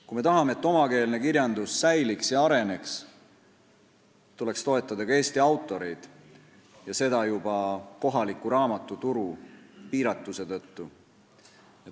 Kui me tahame, et omakeelne kirjandus säiliks ja areneks, tuleks toetada ka Eesti autoreid ja seda juba kohaliku raamatuturu piiratuse tõttu.